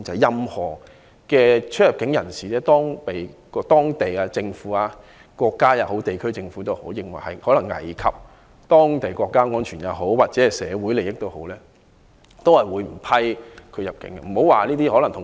任何人士如果被某國家或地區政府認為可能危及國家安全或社會利益，都不會被批入境。